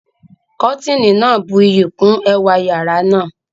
Kọ́tìnì náà buyì kún ẹwà yàrá náà